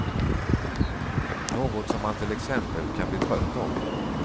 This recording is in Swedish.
Något som man till exempel kan bli trött av.